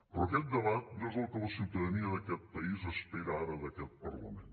però aquest debat no és el que la ciutadania d’aquest país espera ara d’aquest parlament